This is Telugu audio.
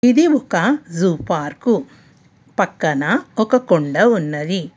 ఇది ఒక జూ పార్కు పక్కన ఒక కొండా ఉన్నది.